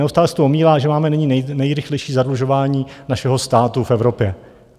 Neustále se tu omílá, že máme nyní nejrychlejší zadlužování našeho státu v Evropě.